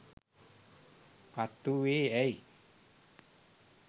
පත් වූයේ ඇයි?